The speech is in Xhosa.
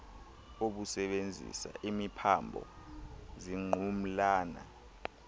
obusebenzisa imiphambo zingqumlana